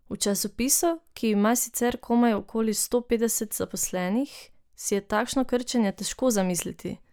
V časopisu, ki ima že sicer komaj okoli sto petdeset zaposlenih, si je takšno krčenje težko zamisliti.